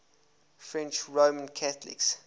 french roman catholics